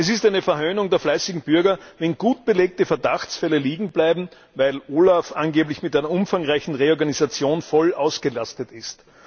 Es ist eine Verhöhnung der fleißigen Bürger, wenn gut belegte Verdachtsfälle liegenbleiben, weil OLAF angeblich mit einer umfangreichen Reorganisation voll ausgelastet ist.